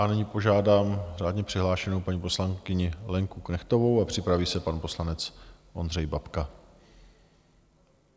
A nyní požádám řádně přihlášenou paní poslankyni Lenku Knechtovou a připraví se pan poslanec Ondřej Babka.